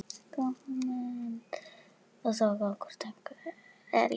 Það þarf þó meira til.